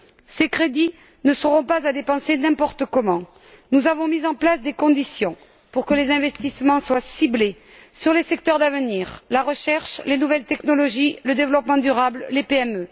Ces crédits ne seront pas à dépenser n'importe comment nous avons mis en place des conditions pour que les investissements soient ciblés sur les secteurs d'avenir, tels que la recherche, les nouvelles technologies, le développement durable et les PME.